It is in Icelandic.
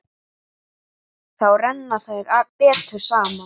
Þá renna þær betur saman.